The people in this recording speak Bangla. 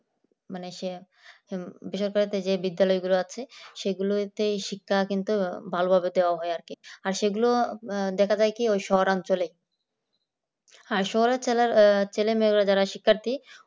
মানে সেই আরকি বেসরকারিতে যে বিদ্যালয়গুলো আছে সেগুলোতেই শিক্ষা কিন্তু ভালোভাবে দেওয়া হয় আর কি আর সেগুলো দেখা যায় কি ওই শহর অঞ্চলে আর শহর অঞ্চলের ছেলে মেয়েরা যারা শিক্ষার্থী